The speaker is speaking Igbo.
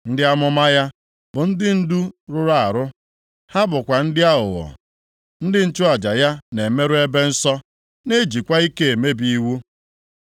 Ndị amụma ya bụ ndị ndu rụrụ arụ, ha bụkwa ndị aghụghọ. Ndị nchụaja ya na-emerụ ebe nsọ na-ejikwa ike emebi iwu.